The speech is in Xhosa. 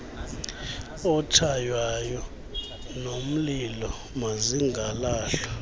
otshaywayo nomlilo mazingalahlwa